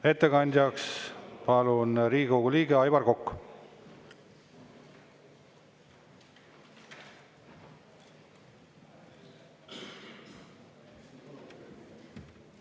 Ettekandjaks palun, Riigikogu liige Aivar Kokk!